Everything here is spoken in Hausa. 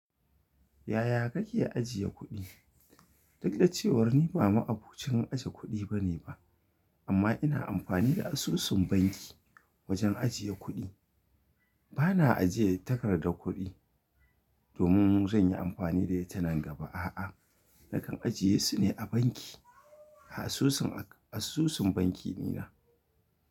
Yaya kake ajiye kuɗi? Lallai cewa ni ba ma'abocin ajiye kuɗi bane ba, amma ina amfani da asusun banki wajen ajiye kuɗi. Bana ajiye takardar kuɗi domin zan yi amfani da ita nan gaba. A'a, nakan ajiye su ne a banki. Asusun, asusun banki di na.